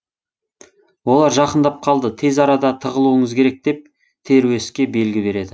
олар жақындап қалды тез арада тығылуыңыз керек деп теруеске белгі береді